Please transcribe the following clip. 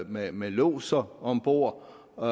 med med lodser om bord og